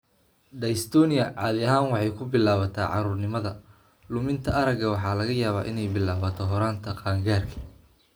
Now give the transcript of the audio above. dystonia caadi ahaan waxay ku bilaabataa caruurnimada; luminta aragga waxa laga yaabaa inay bilaabato horaanta qaangaarka.